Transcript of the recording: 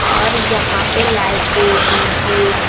और यहाँ पे लाइटें डी.जे. स --